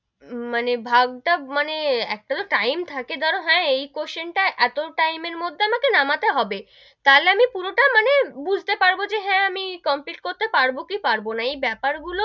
মানে ভাব তাব মানে একটা তো time থাকে ধরো হ্যা, এই question টা এতো time এর মধ্যে আমাকে নামাতে হবে, তাহলে আমি পুরো টা মানে বুঝতে পারবো মানে হেঁ, আমি complete করতে পারবো কি পারবো না, এই বেপার গুলো,